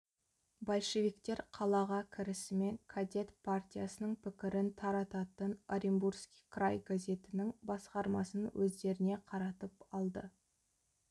большевиктер қалаға кірісімен кадет партиясының пікірін тарататын оренбургский край газетінің басқармасын өздеріне қаратып алды